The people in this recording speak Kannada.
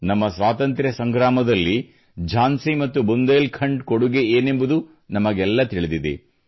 ನಮ್ಮ ಸ್ವಾತಂತ್ರ್ಯ ಸಂಗ್ರಾಮದಲ್ಲಿ ಝಾನ್ಸಿ ಮತ್ತು ಬುಂದೇಲ್ ಖಂಡ್ ಕೊಡುಗೆಯೇನೆಂಬುದು ನಮಗೆಲ್ಲ ತಿಳಿದಿದೆ